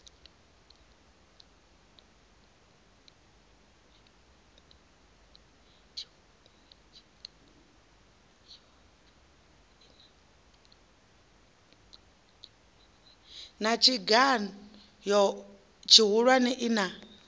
na tshigan o tshihulwane ina